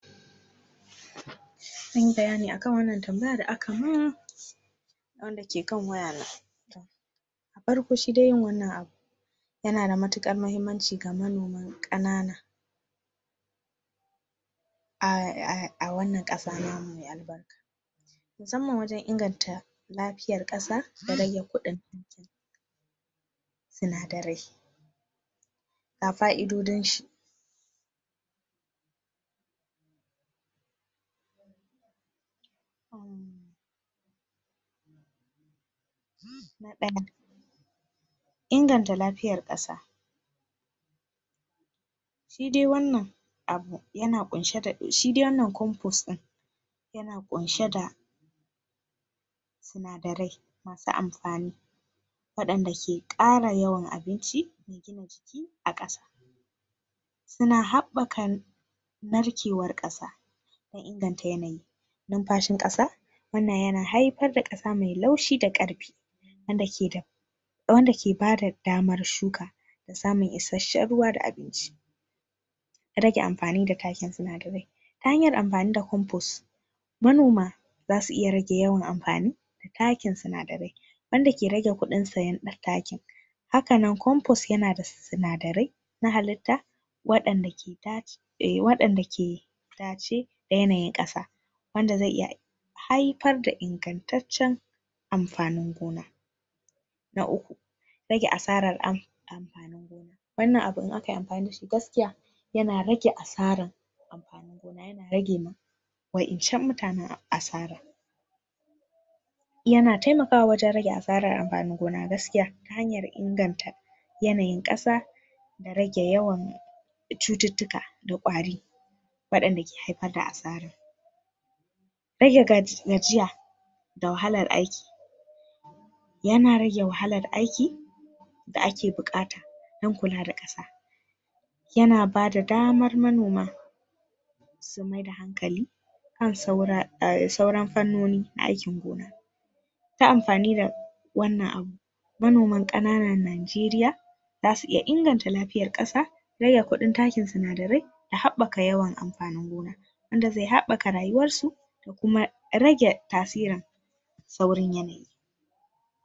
Zanyi bayani akan wannan tamabayar da aka mun wanda ke kan wayana da farko shi de wannan abu yana da mutukar muhimmanci ga manoma ƙanana a wannan ƙasa namu me albarka musamman wajan inganta lafiyar ƙasa da rage ƙudin sinadarai ga fa'idodin shi na ɗaya inganta lafiyar ƙasa shi de wannan abu yana ƙunshe da, shi de wannan compost din yana ƙunshe da sinadarai masu amfani wayanda ke ƙara yawan abinci me gina jiki a ƙasa suna haɓakar narkewar ƙasa da inganta yanayi numfashin ƙasa wannan yana haifar da ƙasa me laushi da ƙarfi wanda ke da wanda ke bada damar shuka da samun ishehen ruwa da abinci rage amfani da takin sinadarai hanyar amfani da compost manoma za su iya rage yawan amfani da takin sinadarai wanda ke rage ƙudin siyan takin hakannan compost yanada sinadarai na halitta wayanda ke dace wayanda ke dace da yanayin ƙasa wanda ze iya haifar da ingantacen amfanin gona na uƙu rage asarar amfanin gona wannan abu idan akayi amfani da shi, gaskiya yana rage asaran amfanin gona yana rage ma wayanccan mutanen asara yana taimakawa wajan rage asarar amfanin gona gaskiya ta hanyar inganta yanayin ƙasa da rage yawan cuttutuka da ƙwari wayanda ke haifar da asarar rage gajiya da wahalar aiki yana rage wahalar aiki da ake buƙata dan kula da ƙasa yana bada damar manoma su maida hankali kan sauran fannoni na aikin gona ta amfani da wannan abu manoman ƙananan najeriya zasu iya inganta lafiyar ƙasa rage ƙudin takin sinadarai da da habaka yawan amfanin gona wanda ze habaka rayuwarsu da kuma rage tasirin saurin yanayi.